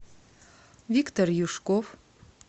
виктор юшков